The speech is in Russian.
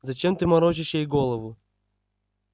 зачем ты морочишь ей голову